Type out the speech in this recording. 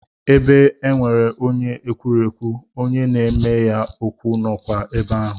Ebe e nwere onye ekwurekwu, onye na-eme ya okwu nọkwa ebe ahụ.